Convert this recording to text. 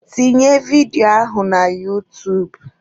Tinye vidio ahụ na utuub!